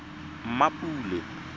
mmapule